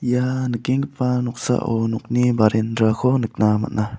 ia nikenggipa noksao nokni barendrako nikna man·a.